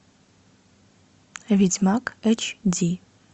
ведьмак эйч ди